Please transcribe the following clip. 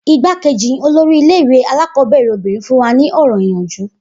Igbákejì olórí ilé ìwé alákọ̀ọ́bẹ̀rẹ̀ obìnrin fún wa ní ọ̀rọ̀ ìyànjú